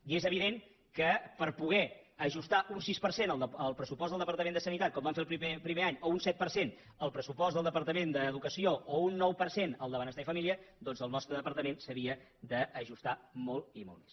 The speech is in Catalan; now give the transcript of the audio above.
i és evident que per poder ajustar un sis per cent el pressu post del departament de salut com vam fer el primer any o un set per cent el pressupost del departament d’ensenyament o un nou per cent el de benestar i família doncs el nostre departament s’havia d’ajustar molt i molt més